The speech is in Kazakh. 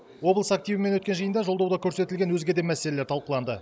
облыс активімен өткен жиында жолдауда көрсетілген өзге де мәселелер талқыланды